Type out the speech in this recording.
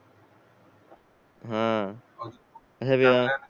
हा